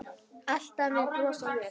Alltaf með bros á vör.